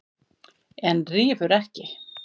En rífur ekki.